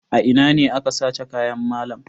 A ina ne aka sace kayan malam?